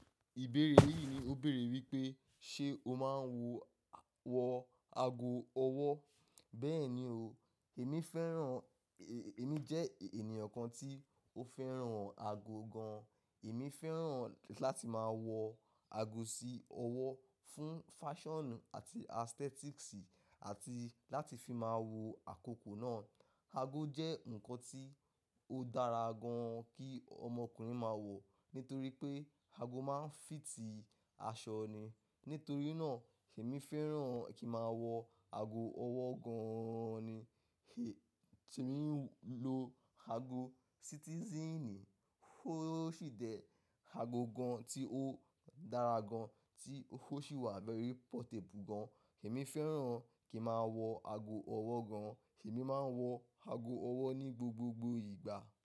Ìbéèrè yìí ni ó béèrè wípé ṣe o máa ń wọ ago ọwọ́? Bẹ́ẹ̀ni o, èmi fẹ́ràn, èmi jẹ́ ènìyàn kan tí ó fẹ́ràn ago gan. Èmi fẹ́ràn láti máa wọ ago sí ọwọ́ fún fashion àti aesthetics àti láti fi máa wo àkókò náà. Ago jẹ́ nǹkan tí ó dára gan kí ọmọkùnrin máa wọ̀ nítorí pé ago máa ń fìtì aṣọ ni. Nítorí náà èmi fẹ́ràn kí màá wọ ago ọwọ́ gan-an ni. Èmi ń lo ago citizen, ó ṣì jẹ́ ago gan tí ó dára gan tí ó sì wà very portable gan. Èmi fẹ́ràn kí màá wọ ago ọwọ́ gan, èmi máa ń wọ ago ọwọ́ ní gbogbogbò ìgbà.